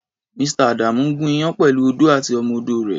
Mr.. Adamu ń gùn iyán pẹ̀lú odó àti ọmọ-odó rẹ̀.